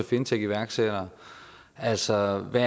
fintechiværksætter altså hvad